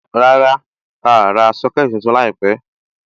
Rárá, a à ra Sọ́kẹ̀tì tuntun láìpẹ̀.